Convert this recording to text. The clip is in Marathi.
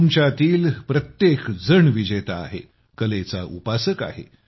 तुमच्यातील प्रत्येकजण विजेता आहे कलेचा उपासक आहे